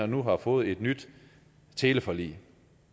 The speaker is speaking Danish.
nu har fået et nyt teleforlig